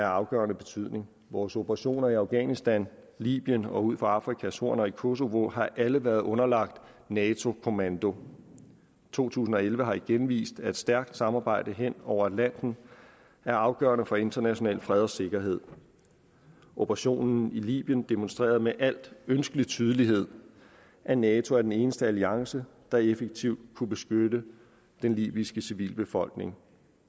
afgørende betydning vores operationer i afghanistan i libyen og ud for afrikas horn og i kosova har alle været underlagt nato kommando to tusind og elleve har igen vist at et stærkt samarbejde hen over atlanten er afgørende for international fred og sikkerhed operationen i libyen demonstrerede med al ønskelig tydelighed at nato er den eneste alliance der effektivt kunne beskytte den libyske civilbefolkning